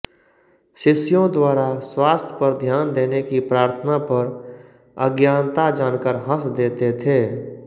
शिष्यों द्वारा स्वास्थ्य पर ध्यान देने की प्रार्थना पर अज्ञानता जानकर हँस देते थे